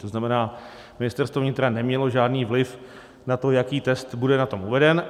To znamená, Ministerstvo vnitra nemělo žádný vliv na to, jaký test bude na tom uveden.